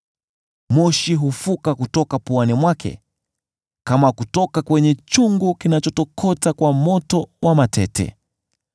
Moshi hufuka kutoka puani mwake, kama kutoka kwenye chungu kinachotokota kwa moto wa matete.